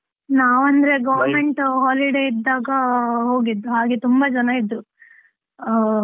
ನಾವ್ government holiday ಇದ್ದಾಗ ಹೋಗಿದ್ದು, ಹಾಗೆ ತುಂಬಾ ಜನ ಇದ್ರೂ. ಅಹ್.